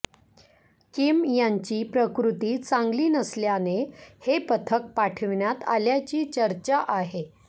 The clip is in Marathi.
किम यांची प्रकृती चांगली नसल्याने हे पथक पाठवण्यात आल्याची चर्चा आहे